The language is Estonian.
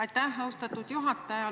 Aitäh, austatud juhataja!